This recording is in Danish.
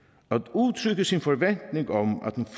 udtrykke sin forventning om at den